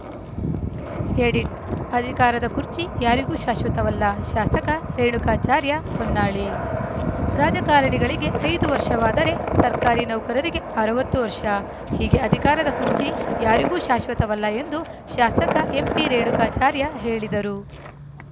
edit ಅಧಿಕಾರದ ಕುರ್ಚಿ ಯಾರಿಗೂ ಶಾಶ್ವತವಲ್ಲ ಶಾಸಕ ರೇಣುಕಾಚಾರ್ಯ ಹೊನ್ನಾಳಿ ರಾಜಕಾರಣಿಗಳಿಗೆ ಐದು ವರ್ಷವಾದರೆ ಸರ್ಕಾರಿ ನೌಕರರಿಗೆ ಅರವತ್ತು ವರ್ಷ ಹೀಗೆ ಅಧಿಕಾರದ ಕುರ್ಚಿ ಯಾರಿಗೂ ಶಾಶ್ವತವಲ್ಲ ಎಂದು ಶಾಸಕ ಎಂಪಿರೇಣಕಾಚಾರ್ಯ ಹೇಳಿದರು